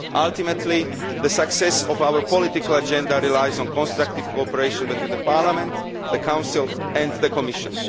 Ultimately, the success of our political agenda relies on constructive cooperation between Parliament, the Council and the Commission